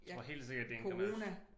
Jeg tror helt sikkert det er en